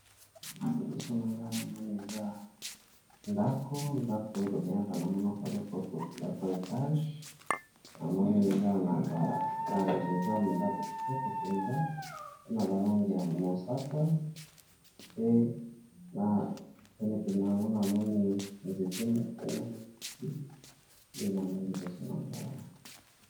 Liboso na nga na moni eza ndako ndako oyo ba bengaka na monoko ya lopoto ndako ya etage na moni eza na ba langi eza ndako kitoko mpenza pena balangi ya mosaka pe na penepene yango na moni nzete moko na matiti nde na moni liboso na nga awa.